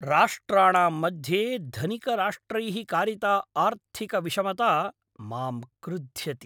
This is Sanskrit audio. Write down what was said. राष्ट्राणां मध्ये धनिकराष्ट्रैः कारिता आर्थिकविषमता माम् क्रुध्यति।